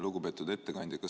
Lugupeetud ettekandja!